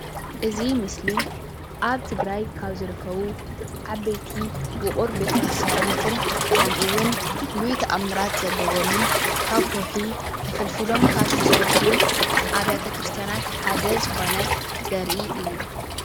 እዚ ምስሊ ኣብ ትግራይ ካብ ዝርከቡ ዓበይቲ ውቅር ቤተ ክርስትያናትን ከምኡውን ፍሉይ ተኣምራት ዘለዎምን ካብ ከውሒ ተፈልፊሎም ካብ ዝተሰርሑ ኣብያተ ክርስትያናት ሓደ ዝኮነ ዘርኢ እዩ፡፡